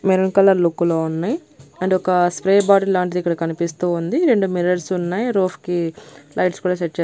maroon colour look లో ఉన్నై and ఒక స్ప్రే బాటిల్ లాంటిది ఇక్కడ కనిపిస్తూ ఉంది రెండు మిర్రర్స్ ఉన్నాయ్ రోఫ్ కి లైట్స్ కూడా సెట్ చేస్--